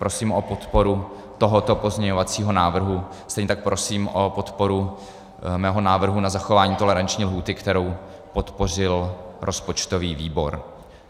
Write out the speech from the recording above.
Prosím o podporu tohoto pozměňovacího návrhu, stejně tak prosím o podporu mého návrhu na zachování toleranční lhůty, kterou podpořil rozpočtový výbor.